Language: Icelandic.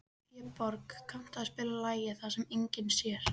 Vébjörg, kanntu að spila lagið „Það sem enginn sér“?